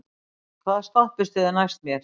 Hergill, hvaða stoppistöð er næst mér?